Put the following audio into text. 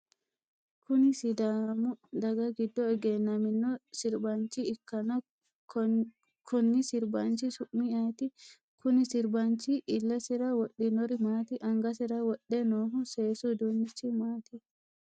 Kunni sidaamu daga gido egennamino sirbaancho ikanna konni sirbaanchi su'mi ayiti? Kunni sirbaanchi ilesira wodhinori maati? Angasira wudhe noohu seesu uduunichi maati?